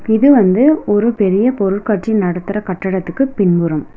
இது வந்து ஒரு பெரிய பொருள்காட்சி நடத்துற கட்டடத்துக்கு பின்புறம்.